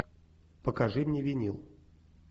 покажи мне винил